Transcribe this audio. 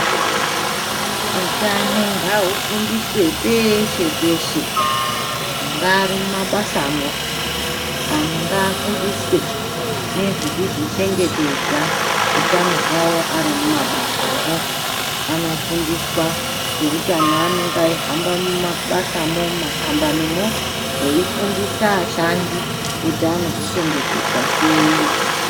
Utano ngaufundiswe peshe peshe munyari mumabasamo antu ngaafundiswe nezvekuzvichengetedza utano hwavo Ari mumabasamo anofundiswa eutano anenge aihamba mumabasamo mumakambanimo veifundisa ashandi kuti anozvichengetedza sei.